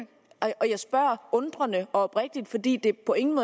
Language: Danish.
jeg spørger undrende og oprigtigt fordi det på ingen